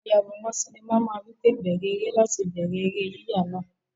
Ayàwòrán sinimá máa wí pé "bẹ̀rẹ̀ eré" láti bẹ̀rẹ̀ eré yíyà náà.